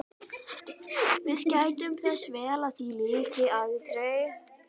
Við gættum þess vel að því lyki aldrei.